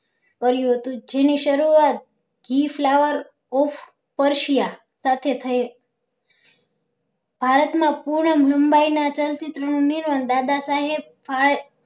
કર્યું હતું જેની સરુઆત ઘી flower of સાથે થઇ હતી ભારત માં પૂર્ણ film ના ચલચિત્ર નું નિર્માણ દાદા સાહેબ ફળ